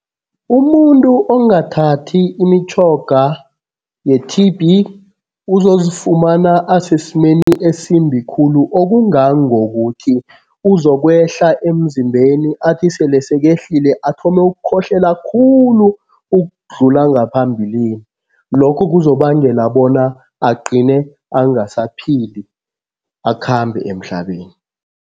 Umuntu ongathathi imitjhoga ye-T_B uzozifumana asesimeni esimbi khulu okungangokuthi uzokwehla emzimbeni athi sele sekehlile athome ukukhohlela khulu ukudlula ngaphambilini. Lokho kuzobangela bona agcine angasaphili, akhambe emhlabeni.